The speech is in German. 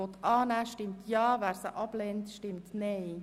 Wer diese annehmen will, stimmt Ja, wer diese ablehnt, stimmt Nein.